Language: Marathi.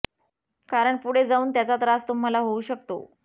कारण पुढे जाऊन त्याचा त्रास तुम्हाला होऊ शकतो